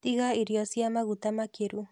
Tiga irio cia maguta makĩru